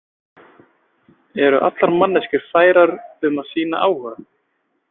Eru allar manneskjur færar um að sýna áhuga?